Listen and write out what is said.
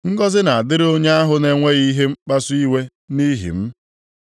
Ngọzị na-adịrị onye ahụ na-enweghị ihe mkpasu iwe nʼihi m.”